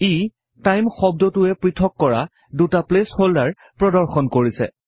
ই time শব্দটোৱে পৃথক কৰা দুটা প্লেচ হল্ডাৰ প্ৰদৰ্শন কৰিছে